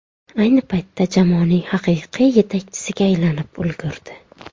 Ayni paytda jamoaning haqiqiy yetakchisiga aylanib ulgurdi.